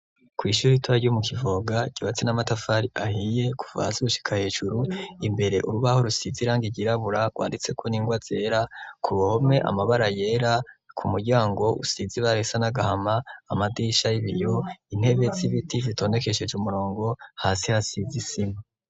Kw'ishuri ritora ryo mu Kivoga, ryubatse n'amatafari ahiye kuva hasi gushika hejuru, imbere urubaho rusizi irangi ryirabura rwanditseko n'ingwa zera, ku ruhome amabara yera, ku muryango usizi ibara risa n'agahama, amadirisha y'ibiyo, intebe z'ibiti zitondekesheje umurongo, hasi hasize isima.